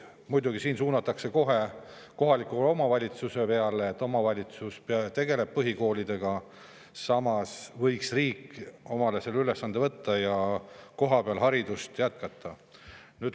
Muidugi siin kohe kohaliku omavalitsuse peale, et omavalitsus tegeleb põhikoolidega, samas võiks riik selle ülesande omale võtta ja kohapeal haridust jätkata.